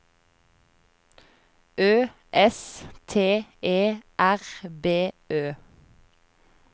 Ø S T E R B Ø